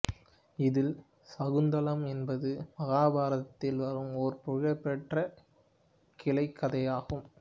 இதில் சாகுந்தலம் என்பது மகாபாரததில் வரும் ஒரு புகழ்பெற்ற கிளைக்கதையாகும்